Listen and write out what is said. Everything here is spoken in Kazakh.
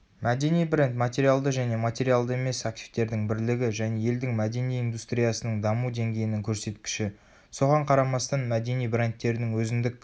мәдени бренд материалды және материалды емес активтердің бірлігі және елдің мәдени индустриясының даму деңгейінің көрсеткіші.соған қарамастан мәдени брендтердің өзіндік